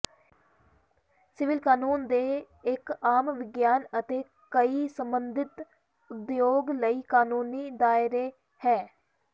civil ਕਾਨੂੰਨ ਦੇ ਇੱਕ ਆਮ ਵਿਗਿਆਨ ਅਤੇ ਕਈ ਸਬੰਧਿਤ ਉਦਯੋਗ ਲਈ ਕਾਨੂੰਨੀ ਦਾਇਰੇ ਹੈ